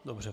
Dobře.